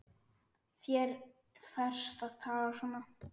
Þér ferst að tala svona!